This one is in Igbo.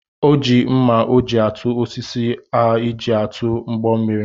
O ji mma o ji atụ osisi o ji atụ ụgbọ mmiri